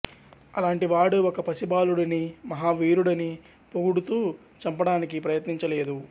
అలాంటి వాడు ఒక పసి బాలుడిని మహా వీరుడని పొగుడుతూ చంపడానికి ప్రయత్నించ లేదు